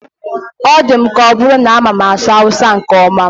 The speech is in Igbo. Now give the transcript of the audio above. Ọ dị m ka ọ bụrụ na amama asụ awụsa nke ọma.